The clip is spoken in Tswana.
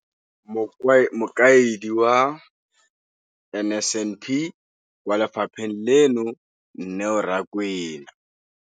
Mokaedi wa NSNP kwa lefapheng leno, Neo Rakwena.